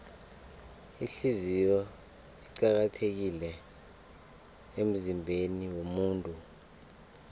ihliziyo iqakathekile emzimbeniwomuntu